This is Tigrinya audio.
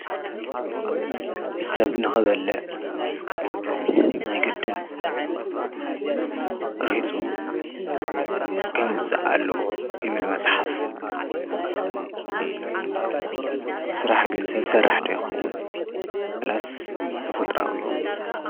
ሰብ ንኽበለ ናይ ገድን ርሒፁ ከምፅ ኣለዎ ይብል መጽሓፍ ሥራሕ ግን ሰብ ሠራሕ ደይኸውን ወላስ ተፉጥራዊ እዩ።